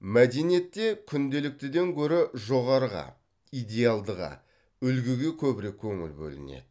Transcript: мәдениетте күнделіктіден гөрі жоғарыға идеалдыға үлгіге көбірек көңіл бөлінеді